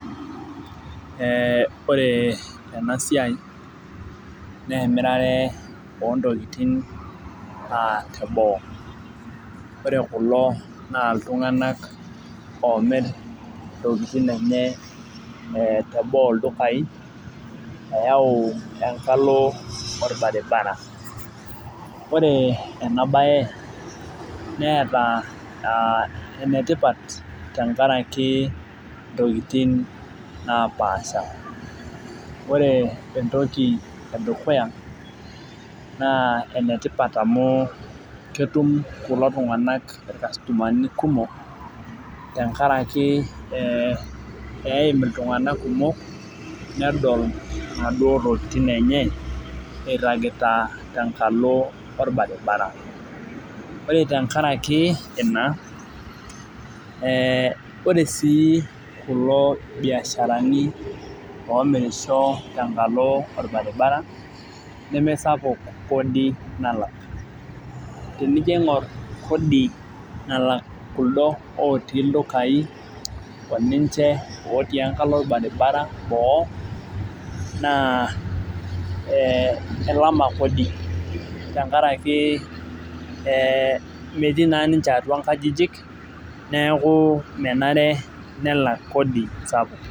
Ee ore enasia na emirare ontokitin teboo ore kulo na ltunganak omir ntokitin enye teboo ldukaieyau enkalo orbaribara ore enabae neeta enetipat tenkaraki ntokitin napaasha ore entoki edukuya na enetipat amu ketum kulo tunganak irkastomani kumok tenkaraki eim ltunganak kumok nedol naduo tokitin enye iragitatenkalo orbaribara ore tenkaraki ina ore si kulo biasharani omirisho tenkalo orbaribara nemesapuk kodi nalak tenijo aingur kodi nalak kuldo otii ldukai oninche otii enkalo orbaribara boo na kelama kodi tenkaraki metii na nimche atua nkajijik neaku menare nelak Kodi sapuk.